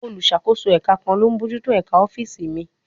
Olùṣàkóso ẹ̀ka kan ló ń bójú tó ẹ̀ka ọ́fíìsì míì